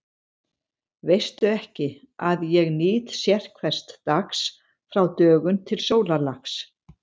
Veistu ekki, að ég nýt sérhvers dags frá dögun til sólarlags?